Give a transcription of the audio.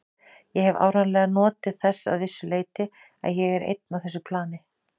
Ég hef áreiðanlega notið þess að vissu leyti að ég er einn á þessu plani.